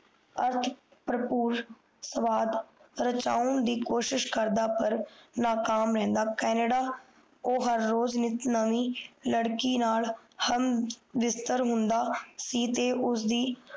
ਅਰਥ ਪਰਪੁਰ ਸਵਾਦ ਰਾਚੋੰ ਦੀ ਕੋਸ਼ਿਸ਼ ਕਰਦਾ ਪਰ ਨਾਕਾਮ ਰਿਹੰਦਾ ਓ ਕੈਨੇਡਾ ਓ ਹਰ ਰੂਜ ਇਕ ਨਮੀ ਲਡ਼ਕੀ ਨਾਲ ਹਮ ਬਿਸਤਰ ਹੁੰਦਾ ਸੀ ਤੇ ਉਸ ਦੀ